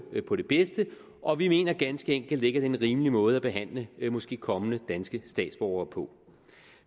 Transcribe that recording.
på det bedste og vi mener ganske enkelt ikke er en rimelig måde at behandle måske kommende danske statsborgere på